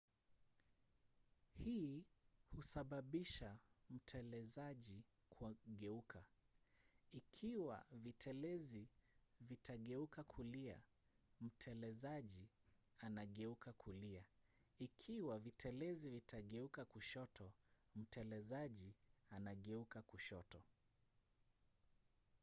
hii husababisha mtelezaji kugeuka. ikiwa vitelezi vitageuka kulia mtelezaji anageuka kulia ikiwa vitelezi vitageuka kushoto mtelezaji anageuka kushoto